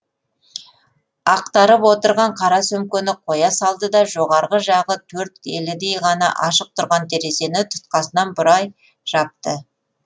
ақтарып отырған қара сөмкені қоя салды да жоғарғы жағы төрт елідей ғана ашық тұрған терезені тұтқасынан бұрай жапты